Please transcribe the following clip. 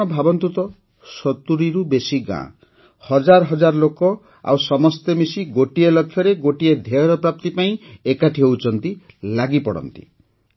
ଆପଣ ଭାବନ୍ତୁ ତ ୭୦ରୁ ବେଶୀ ଗାଁ ହଜାର ହଜାର ଲୋକ ଆଉ ସମସ୍ତେ ମିଶି ଗୋଟିଏ ଲକ୍ଷ୍ୟରେ ଗୋଟିଏ ଧ୍ୟେୟର ପ୍ରାପ୍ତି ପାଇଁ ଏକାଠି ହୁଅନ୍ତି ଲାଗିପଡ଼ନ୍ତି